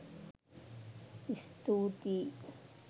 ඉස්තූතියි